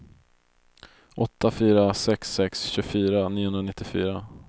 åtta fyra sex sex tjugofyra niohundranittiofyra